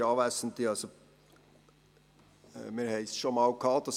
Wir haben dieses Thema bereits einmal gehabt.